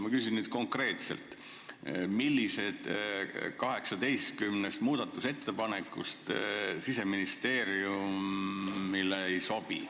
Ma küsin nüüd konkreetselt, millised 18 muudatusettepanekust Siseministeeriumile ei sobi.